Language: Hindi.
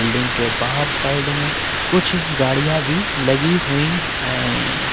रिंग के बाहर साइड में कुछ गाड़ियां भी लगी हुई है।